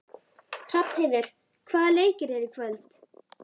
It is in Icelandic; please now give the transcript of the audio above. Hrafnheiður, hvaða leikir eru í kvöld?